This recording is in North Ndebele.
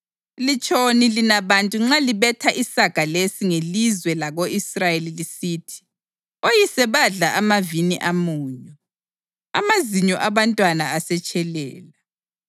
“Litshoni lina bantu nxa libetha isaga lesi ngelizwe lako-Israyeli lisithi: ‘Oyise badla amavini amunyu, amazinyo abantwana asetshelela’?